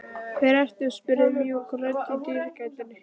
Hver ert þú? spurði mjúk rödd í dyragættinni.